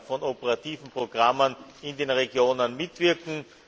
von operativen Programmen in den Regionen mitwirken.